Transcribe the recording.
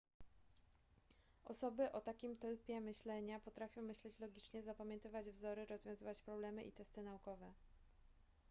osoby o takim typie myślenia potrafią myśleć logicznie zapamiętywać wzory rozwiązywać problemy i testy naukowe